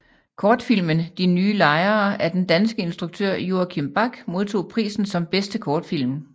Kortfilmen De nye lejere af den danske instruktør Joachim Back modtog prisen som bedste kortfilm